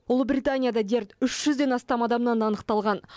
ұлыбританияда дерт үш жүзден астам адамнан анықталған